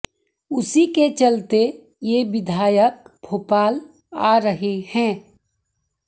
उसी के चलते ये विधायक भोपाल आ रहे हैं